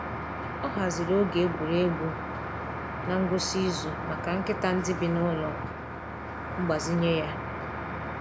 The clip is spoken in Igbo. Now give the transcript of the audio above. Ọ haziri oge egwuregwu n’ngwụsị izu maka nkịta ndị bi n’ụlọ mgbazinye ya.